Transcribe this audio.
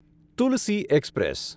Tulsi express